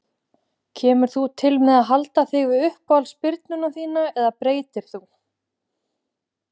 Kemur þú til með að halda þig við uppáhalds spyrnuna þína eða breytir þú?